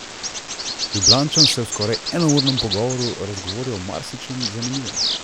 Ljubljančan se je v skoraj enournem pogovoru razgovoril o marsičem zanimivem.